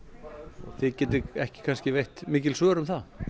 og þið getið ekki kannski veitt mikil svör um það